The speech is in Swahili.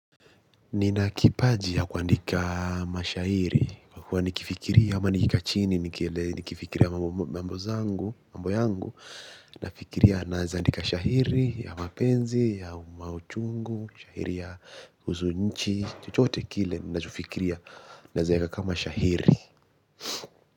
Nina kipaji ya kuandika mashairi kwa kuwa nikifikiria ama nikikaa chini nikifikiria mambo zangu mambo yangu na fikiria nazi andika shahiri ya mapenzi ya mauchungu. Shahiri ya uzunichi. Chuchote kile ninajufikiria. Nazika kama shahiri.